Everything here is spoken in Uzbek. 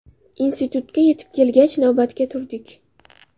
Institutga yetib kelgach, navbatga turdik.